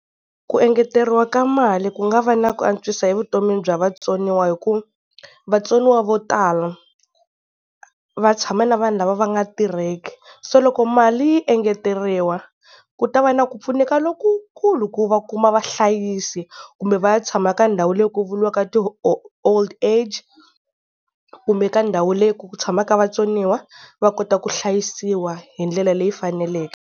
Ku engeteriwa ka mali ku nga va na ku antswisa evuton'wini bya vatsoniwa, hi ku vatsoniwa vo tala va tshama na vanhu lava va nga tirheki. Se loko mali yi engeteriwa ku ta va na ku pfuneka lokukulu ku va kuma vahlayisi, kumbe va ya tshama ka ndhawu leyi ku vuriwaka ti-Old Age, kumbe ka ndhawu leyi ku tshamaka vatsoniwa va kota ku hlayisiwa hi ndlela leyi faneleke.